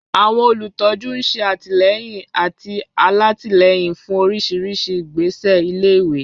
Àwọn olùtọ́jú ń ṣe àtìlẹ́yìn àti alátìlẹ́yìn fún oríṣiríṣi ìgbésẹ̀ ilé-ìwé.